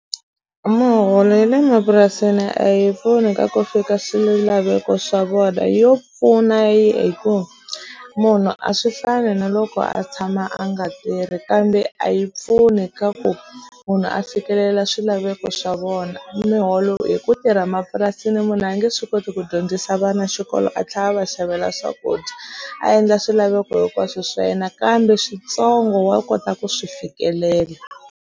Muholo ye le mapurasini a yi pfuni ka ku fika swilaveko swa vona yo pfuna yi hi ku munhu a swi fani na loko a tshama a nga tirhi kambe a yi pfuni ka ku munhu a fikelela swilaveko swa vona muholo hi ku tirha mapurasini munhu a nge swi koti ku dyondzisa vana xikolo a tlla va xavela swakudya a endla swilaveko hinkwaswo swa yena kambe switsongo wa kota ku swi fikelela.